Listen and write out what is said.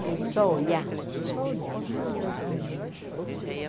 Falei, só olhar, só olhar, vamos olhar os meninos.